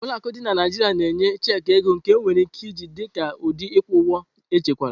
Ụlọ akụ dị na Naijiria na-enye checki ego, nke enwere ike iji dị ka ụdị ịkwụ ụgwọ echekwara.